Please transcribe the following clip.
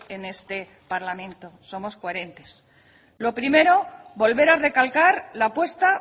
en este parlamento somos coherentes lo primero volver a recalcar la apuesta